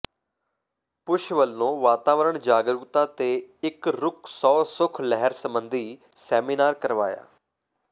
push ਵਲੋਂ ਵਾਤਾਵਰਨ ਜਾਗਰੂਕਤਾ ਤੇ ਇਕ ਰੁੱਖ ਸੌ ਸੁੱਖ ਲਹਿਰ ਸਬੰਧੀ ਸੈਮੀਨਾਰ ਕਰਵਾਇਆ